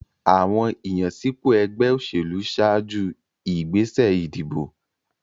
Àwọn ìyànsípò ẹgbẹ́ òṣèlú ṣáájú ìgbésẹ̀ ìdìbò.